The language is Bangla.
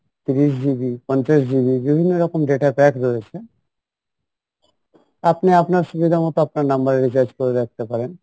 তিরিশ GB পঞ্চাশ GB বিভিন্ন রকম data pack রয়েছে আপনি আপনার সুবিধা মতো আপনার number এ recharge করে রাখতে পারেন